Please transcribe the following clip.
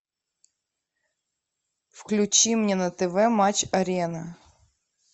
включи мне на тв матч арена